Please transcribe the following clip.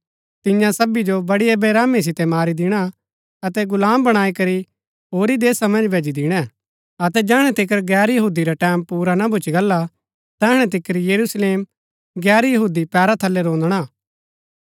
तियां सबी जो बड़ी बेरहमी सितै मारी दिणा अतै गुलाम बणाई करी कई होरी देशा मन्ज भैजी दिणै अतै जैहणै तिकर गैर यहूदी रा टैमं पुरा ना भूच्ची गला तैहणै तिकर यरूशलेम गैर यहूदी पैरा थलै रोंदणा हा